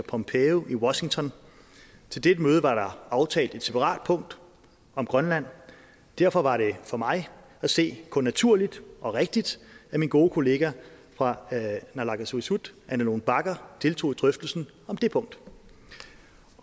pompeo i washington til dette møde var der aftalt et separat punkt om grønland derfor var det for mig at se kun naturligt og rigtigt at min gode kollega fra naalakkersuisut ane lone bagger deltog i drøftelsen om det punkt